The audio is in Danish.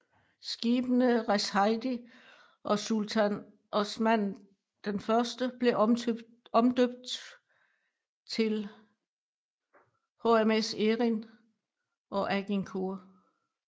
Skibene Reshadiye og Sultan Osman I blev omdømt til HMS Erin og Agincourt